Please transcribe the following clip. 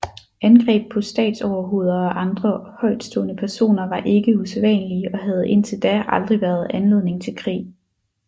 Angreb på statsoverhoveder og andre højtstående personer var ikke usædvanlige og havde indtil da aldrig været anledning til krig